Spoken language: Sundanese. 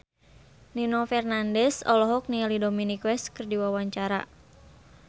Nino Fernandez olohok ningali Dominic West keur diwawancara